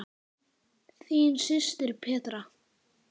Þín systir, Petra.